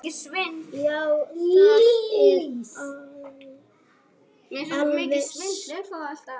Já, það er alveg satt.